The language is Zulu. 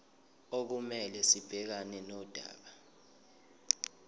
okumele sibhekane nodaba